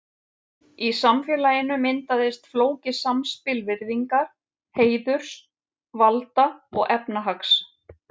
Í samfélaginu myndaðist flókið samspil virðingar, heiðurs, valda og efnahags.